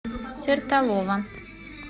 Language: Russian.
сертолово